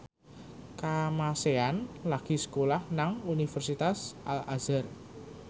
Kamasean lagi sekolah nang Universitas Al Azhar